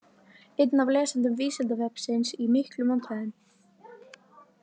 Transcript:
Einn af lesendum Vísindavefsins í miklum vandræðum!